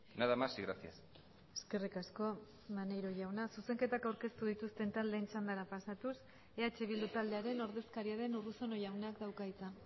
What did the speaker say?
nada más y gracias eskerrik asko maneiro jauna zuzenketak aurkeztu dituzten taldeen txandara pasatuz eh bildu taldearen ordezkaria den urruzuno jaunak dauka hitza